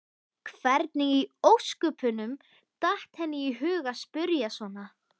Hvernig í ósköpunum datt henni í hug að spyrja svona!